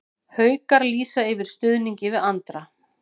Haukar lýsa yfir stuðningi við Andra